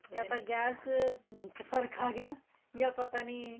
ਜਾਂ ਤਾਂ ਗੈਸ ਵਿੱਚ ਫ਼ਰਕ ਆ ਗਿਆ ਜਾਂ ਪਤਾ ਨਹੀਂ